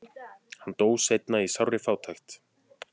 hann dó seinna í sárri fátækt